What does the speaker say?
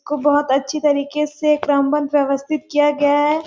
बहुत अच्छी तरिके से क्रमबद्ध व्यवस्थित किया गया है।